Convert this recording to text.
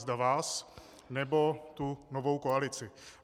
Zda vás, nebo tu novou koalici.